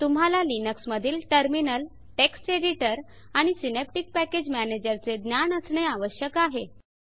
तुम्हाला लिनक्स मधील terminal text editor आणि सिनॅप्टिक पॅकेज मॅनेजर चे ज्ञान असणे आवश्यक आहे